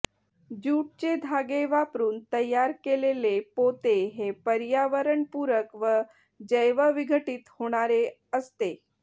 ज्यूटचे धागे वापरून तयार केलेले पोते हे पर्यावरणपूरक व जैवविघटित होणारे असते